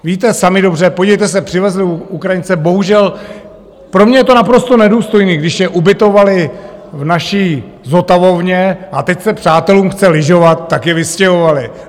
Víte sami dobře, podívejte se, přivezli Ukrajince, bohužel pro mě je to naprosto nedůstojné, když je ubytovali v naší zotavovně a teď se přátelům chce lyžovat, tak je vystěhovali.